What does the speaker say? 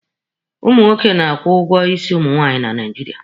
Ụmụ nwoke na-akwụ ụgwọ isi ụmụ nwaanyị na Naijiria.